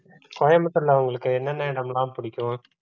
கோயம்புத்தூர்ல உங்களுக்கு என்னென்ன இடமெல்லாம் பிடிக்கும்